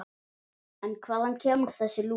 En hvaðan kemur þessi lús?